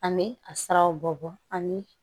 An bɛ a siraw bɔ ani